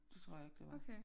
Det tror jeg ikke det var